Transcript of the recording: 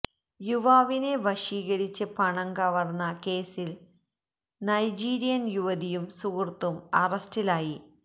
യുവാവിനെ വശീകരിച്ച് പണം കവര്ന്ന കേസില് നൈജീരിയന് യുവതിയും സുഹൃത്തും അറസ്റ്റിലായി